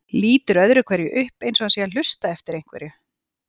Lítur öðru hverju upp eins og hann sé að hlusta eftir einhverju.